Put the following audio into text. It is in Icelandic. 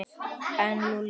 En Lúlli?